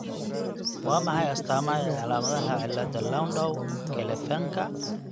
Waa maxay astaamaha iyo calaamadaha cillada Landau Kleffnerka?